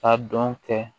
A dɔn kɛ